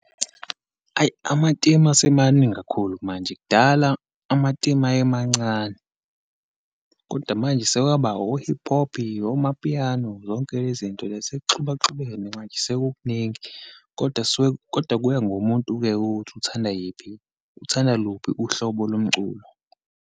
Ayi, amatemu asemaningi kakhulu manje. Kudala amatemu ayemancane, kodwa manje sekwaba o-hip hop, oma-piano, zonke lezinto. Sekuxubaxubene manje, sekukuningi kodwa kodwa kuya ngumuntu-ke ukuthi uthanda yiphi, uthanda luphi uhlobo lomculo.